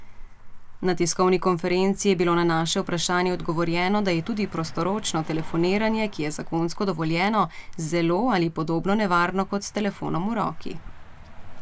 Na tiskovni konferenci je bilo na naše vprašanje odgovorjeno, da je tudi prostoročno telefoniranje, ki je zakonsko dovoljeno, zelo ali podobno nevarno kot s telefonom v roki.